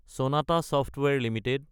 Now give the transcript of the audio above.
Sonata ছফটৱাৰে Ltd